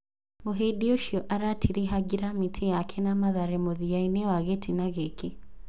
Mũhĩndi ũcio aratiriha ngirimiti yake na Mathare mũthiyainĩ wa gĩtĩna gĩkĩ.